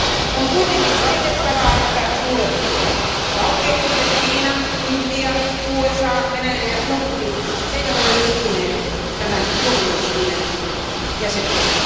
On kuitenkin valitettavaa, että suuret valtiot, kuten Kiina, Intia, USA, Venäjä ja Turkki, eivät ole liittyneet tämän tuomioistuimen jäseniksi.